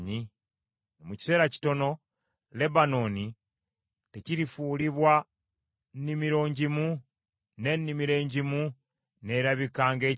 Mu kiseera kitono, Lebanooni tekirifuulibwa nnimiro ngimu, n’ennimiro engimu n’erabika ng’ekibira?